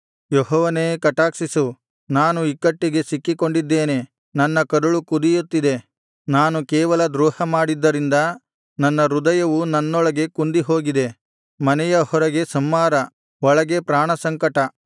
ಯೆಹೋವನೇ ಕಟಾಕ್ಷಿಸು ನಾನು ಇಕ್ಕಟ್ಟಿಗೆ ಸಿಕ್ಕಿಕೊಂಡಿದ್ದೇನೆ ನನ್ನ ಕರುಳು ಕುದಿಯುತ್ತಿದೆ ನಾನು ಕೇವಲ ದ್ರೋಹಮಾಡಿದ್ದರಿಂದ ನನ್ನ ಹೃದಯವು ನನ್ನೊಳಗೆ ಕುಂದಿಹೋಗಿದೆ ಮನೆಯ ಹೊರಗೆ ಸಂಹಾರ ಒಳಗೆ ಪ್ರಾಣಸಂಕಟ